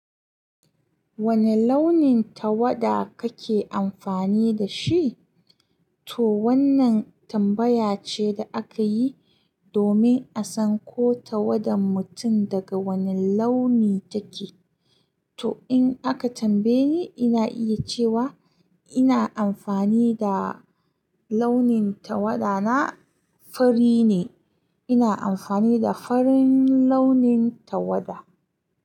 Wani launin tawada kake amfani da shi? Toh wannan tambaya ce da aka yi domin a san ko tawadan mutum daga wane launi take. To in aka tambaye ni, ina iya cewa ina amfani da launin tawada na fari ne. Ina amfani da farin launin tawada.